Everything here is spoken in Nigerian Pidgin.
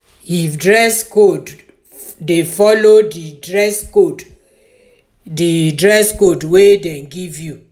if dress code de follow di dress code di dress code wey dem give you